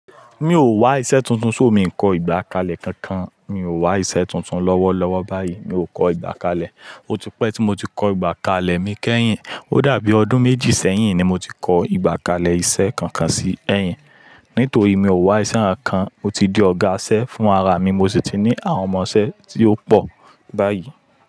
Mi ò wá iṣẹ́ tuntun, ṣo mii kọ́ ìgbà kalẹ̀ kankan. Mi ò wá iṣẹ́ tuntun lọ́wọ́ lọ́wọ́ báyìí, mi o kọ́ ìgbà kalẹ̀. Ó tipẹ̀ tí mo ti kọ ìgbà kalẹ̀ mi kẹ́yìn. Ó dàbí ọdún méjì sẹ́yìn ni mo ti kọ ìgbà kalẹ̀ iṣẹ́ kankan sí ẹ̀yìn. Nítorí mi ò wá iṣẹ́ kankan, mó ti di ọ̀gá iṣẹ́ fún ara mi. Mo sì ti ní àwọn ọmọ iṣẹ́ tí ó pọ̀ báyìí.